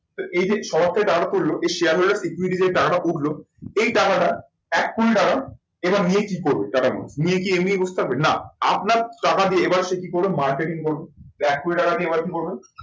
এই যে সবার থেকে টাকাটা তুললো এই share holder যে টাকাটা উঠলো এই টাকাটা এক কোটি টাকা এবার নিয়ে কি করবে টাকা গুলো? নিয়ে কি এমনি বস থাকবে? না আপনার টাকা দিয়ে এবার সে কি করবে marketing করবে। এবার এক কোটি টাকা নিয়ে এবার কি করবে?